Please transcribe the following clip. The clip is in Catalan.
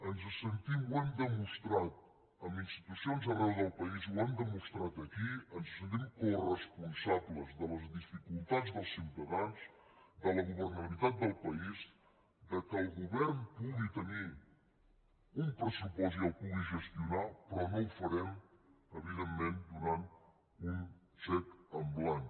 ens sentim ho hem demostrat amb institucions arreu del país ho hem demostrat aquí ens sentim coresponsables de les dificultats dels ciutadans de la governabilitat del país que el govern pugui tenir un pressupost i el pugui gestionar però no ho farem evidentment donant un xec en blanc